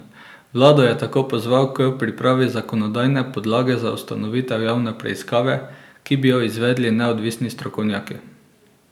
Vlado je tako pozval k pripravi zakonodajne podlage za ustanovitev javne preiskave, ki bi jo izvedli neodvisni strokovnjaki.